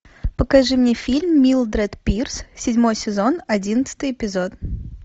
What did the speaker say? покажи мне фильм милдред пирс седьмой сезон одиннадцатый эпизод